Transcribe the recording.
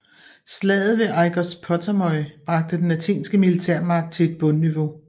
Slaget ved Aigospotamoi bragte den athenske militærmagt til et bundniveau